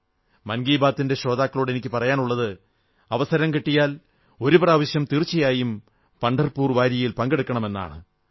മൻകീ ബാത്തിന്റെ ശ്രോതാക്കളോട് എനിക്കു പറയാനുള്ളത് അവസരം കിട്ടിയാൽ ഒരു പ്രാവശ്യം തീർച്ചയായും പഢർപൂർ വാരിയിൽ പങ്കെടുക്കണമെന്നാണ്